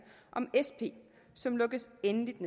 om sp som lukkes endeligt